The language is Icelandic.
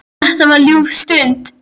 Þetta var ljúf stund.